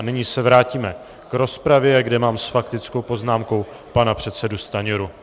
A nyní se vrátíme k rozpravě, kde mám s faktickou poznámkou pana předsedu Stanjuru.